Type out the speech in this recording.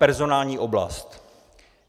Personální oblast.